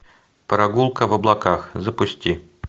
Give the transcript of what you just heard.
прогулка в облаках запусти